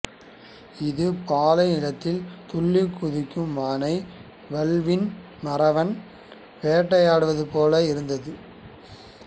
இது பாலை நிலத்தில் துள்ளிக் குதிக்கும் மானை வல்வில் மறவன் வேட்டையாடுவது போல இருந்ததாம்